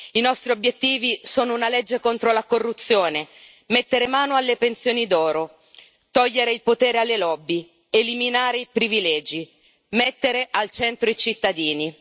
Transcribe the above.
I nostri obiettivi sono una legge contro la corruzione, mettere mano alle pensioni d'oro, togliere il potere alle lobby, eliminare i privilegi, mettere al centro i cittadini.